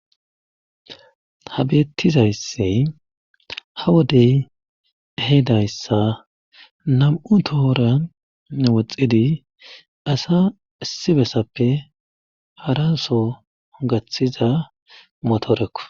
habeettizayssi ha wodey ehedayssa nam7u tohora woxxidi asa issibessappe haraso ongathiza motoorekku